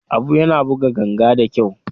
Abu yana buga ganga da kyau.